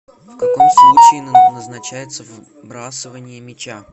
в каком случае назначается вбрасывание мяча